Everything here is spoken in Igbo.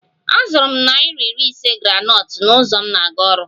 Azụrụ m naira iri ise groundnut n'ụzọ m na-aga ọrụ